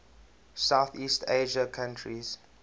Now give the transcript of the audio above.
southeast asian countries